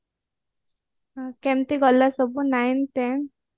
ହୁଁ କେମିତି ଗଲା ସବୁ nine ten